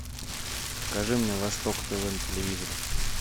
покажи мне восток тв на телевизоре